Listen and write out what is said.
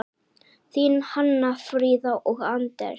Þín Hanna Fríða og Anders.